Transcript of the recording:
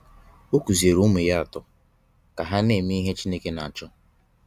Ọ kuziere ụmụ ya atọ ka ha na-eme ihe Chineke na-achọ